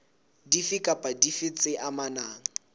dife kapa dife tse amanang